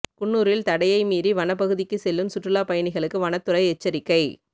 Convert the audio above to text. குன்னூரில் தடையை மீறி வனப்பகுதிக்கு செல்லும் சுற்றுலா பயணிகளுக்கு வனத்துறை எச்சரிக்கை